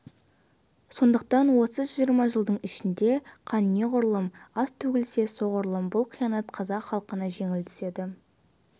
сондықтан осы жиырма жылдың ішінде қан неғұрлым аз төгілсе соғұрлым бұл қиянат қазақ халқына жеңіл түседі